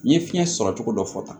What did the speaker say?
N ye fiɲɛ sɔrɔ cogo dɔ fɔ tan